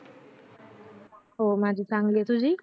हो माझी चांगलीच तुझी